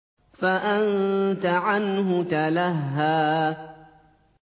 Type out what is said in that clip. فَأَنتَ عَنْهُ تَلَهَّىٰ